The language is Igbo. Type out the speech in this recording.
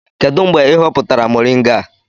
Kedu mgbe ị hoputara moringa a?